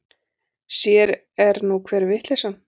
Sér er nú hver vitleysan!